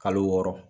Kalo wɔɔrɔ